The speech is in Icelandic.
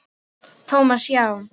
Thomas, já.